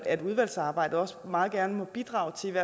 at udvalgsarbejdet også meget gerne må bidrage til